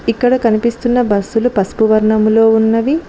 ఇక్కడ కనిపిస్తున్న బస్సులు పసుపు వర్ణంలో ఉన్నవి